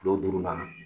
Kilo duuru na